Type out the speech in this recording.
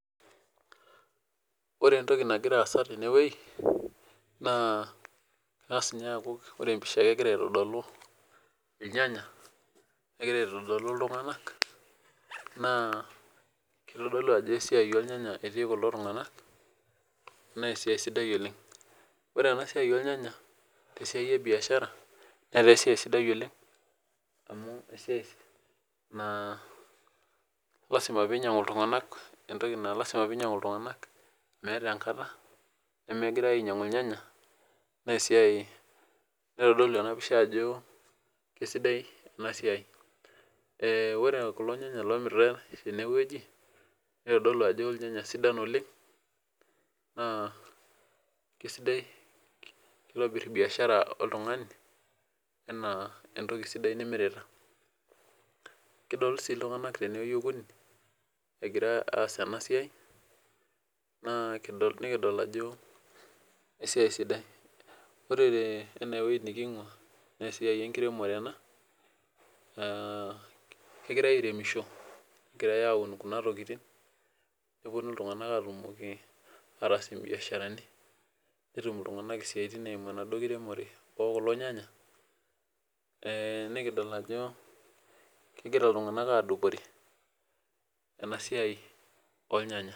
Ore entoki nagira aasa tendewueji, naa eng'ass ninye aaku ore empisha egira aitodolu inyanya negira aitodolu iltung'ana naa kitodolu ajo esiaai oo rnyanya etii kulo tung'ana, naa esiaai sidai oleng ore ena siaai oornyanya te siaai e biaashara netaa esiaai sidai oleng amuu esiaai naa lasima piinyiang'u iltung'ana entoki naa lasima piinyiang'u iltung'ana, meets enkata nemegirae aainyang'u irnyanya neitodolu enapisha ajo keisidai ena siaai.ee ore inyanya oomiritae tenewueji, neitodolu aajo kisidan oleng naa keitobirr biaashara oltung'ani anaa entoki sidai nimirita. kitodolu sii iltung'ana tenewueji okuni egira aas ena siaai naa nikidol ajo esiaai sidai. ore tene naa esiaai enkiremore, ena aa kegirae aairemisho negirae aaun kuna tokitin negirae naa aatun nepuonu ltung'anak aatumoki isaaitin ookulo nyanya nikidol ajo kegira iltung'ana aadupore ena siaai oornyanya